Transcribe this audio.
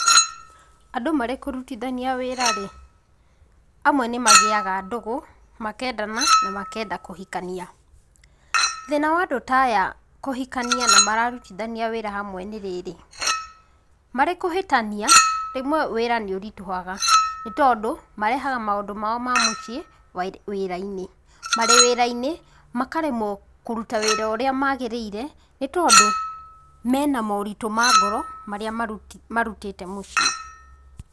Andũ marĩ kũrutithania wĩra-rĩ, amwe nĩ magĩaga ndũgũ, makendana, na makenda kũhikania. Thĩna wa andũ aya kũhikania na mararutithania wĩra hamwe nĩ rĩrĩ, marĩ kũhĩtania, rĩmwe wĩra nĩũritũhaga, nĩ tondũ marehaga maũndũ mao ma mũciĩ wĩra-inĩ. Marĩ wĩra-inĩ, makaremwo kũruta wĩra ũrĩa magĩrĩ-ire, nĩ tondũ marĩ na ũritũ wa ngoro marĩa marutĩte mũciĩ.